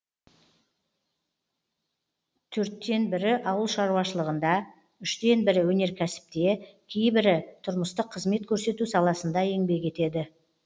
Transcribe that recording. төрттен бірі ауыл шаруашылығында үштен бірі өнеркәсіпте кейбірі тұрмыстық қызмет көрсету саласында еңбек етеді